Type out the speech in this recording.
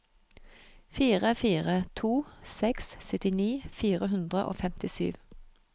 fire fire to seks syttini fire hundre og femtisju